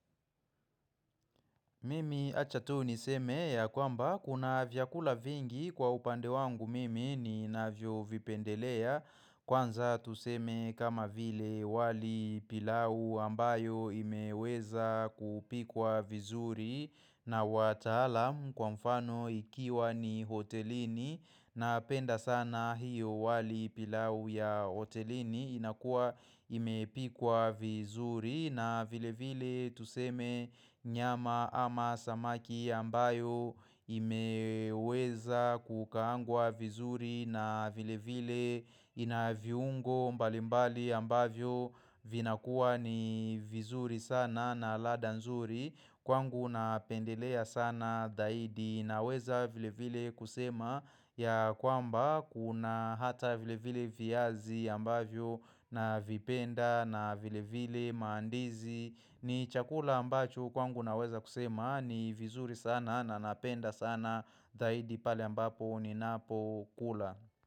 Mimi wacha tu niseme ya kwamba kuna vyakula vingi kwa upande wangu mimi ninavyovipendelea Kwanza tuseme kama vile wali pilau ambayo imeweza kupikwa vizuri na wataalam kwa mfano ikiwa ni hotelini Napenda sana hiyo wali pilau ya hotelini inakuwa imepikwa vizuri na vile vile tuseme nyama ama samaki ambayo imeweza kukaangwa vizuri na vile vile ina viungo mbalimbali ambavyo vinakuwa ni vizuri sana na ladha nzuri. Kwangu napendelea sana zaidi naweza vile vile kusema ya kwamba kuna hata vile vile viazi ambavyo navipenda na vile vile maandizi ni chakula ambacho kwangu naweza kusema ni vizuri sana na napenda sana zaidi pale ambapo ninapokula.